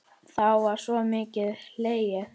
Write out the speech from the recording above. Þá var sko mikið hlegið.